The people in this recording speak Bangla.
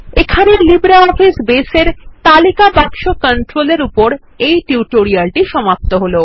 এখানেই লিব্রিঅফিস বেস এ তালিকা বাক্স কন্ট্রোল এর উপর এই টিউটোরিয়ালটি সমাপ্ত হল